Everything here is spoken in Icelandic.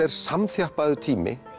er samþjappaður tími